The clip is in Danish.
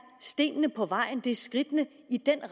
stenene på vejen det er skridtene i